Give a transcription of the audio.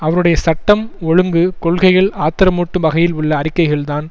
அவருடைய சட்டம் ஒழுங்கு கொள்கைகள் ஆத்திரமூட்டும் வகையில் உள்ள அறிக்கைகள்தான்